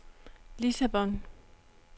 Lissabon